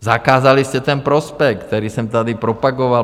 Zakázali jste ten prospekt, který jsem tady propagoval.